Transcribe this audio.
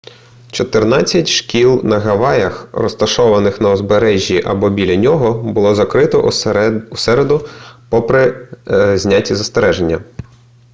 чотирнадцять шкіл на гаваях розташованих на узбережжі або біля нього було закрито у середу попри зняті застереження